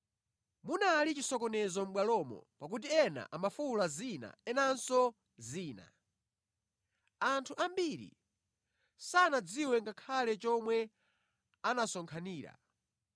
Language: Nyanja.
Munali chisokonezo mʼbwalomo pakuti ena amafuwula zina, enanso zina. Anthu ambiri sanadziwe ngakhale chomwe anasonkhanira.